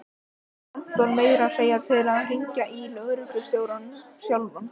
Hún fékk Anton meira að segja til þess að hringja í lögreglustjórann sjálfan.